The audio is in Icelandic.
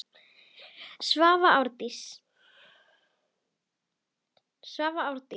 Svava Árdís.